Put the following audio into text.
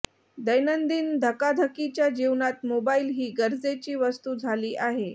दैनंदिन धकाधकीच्या जीवनात मोबाईल ही गरजेची वस्तू झाली आहे